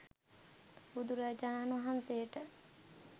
බුදුරජාණන් වහන්සේට